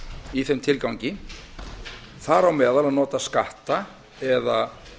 í þeim tilgangi þar á meðal að nota skatta eða